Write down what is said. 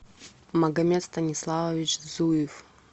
магомед станиславович зуев